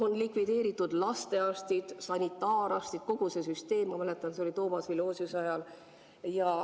On likvideeritud lastearstid, sanitaararstid, kogu see süsteem, ma mäletan, see oli Toomas Vilosiuse ajal.